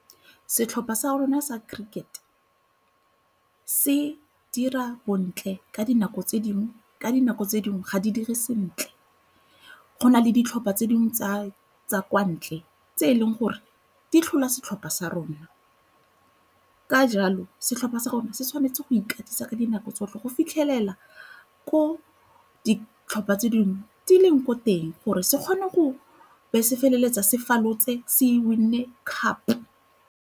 Setlhopha sa rona sa cricket se dira bontle ka dinako tse dingwe ka dinako tse dingwe ga di dire sentle. Go na le ditlhopha tse dingwe tsa kwa ntle tse e leng gore di tlhola setlhopha sa rona ka jalo setlhopha sa gore se tshwanetse go ikatisa ka dinako tsotlhe go fitlhelela ko ditlhopha tse dingwe di ileng ko teng gore se kgone go be se feleletsa se falotse se win-e cup.